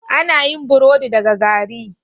Ana yin burodi daga gari